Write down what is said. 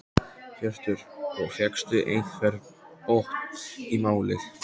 Hjörtur: Og fékkstu einhvern botn í málið?